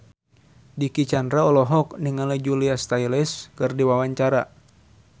Dicky Chandra olohok ningali Julia Stiles keur diwawancara